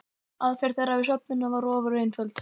Aðferð þeirra við söfnunina var ofureinföld.